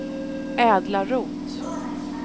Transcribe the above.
Edla Roth